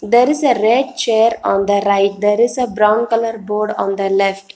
There is a red chair on the right there is a brown colour board on the left.